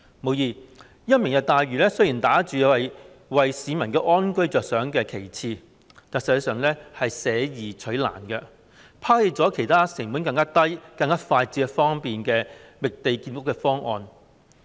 無疑，"明日大嶼願景"打着為市民安居着想的旗幟，但實際上是捨易取難，拋棄了其他成本更低、更快捷方便的覓地建屋方案。